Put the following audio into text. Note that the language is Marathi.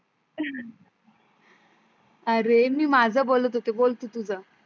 अरे मी माझं बोलत होते बोल तू तुझ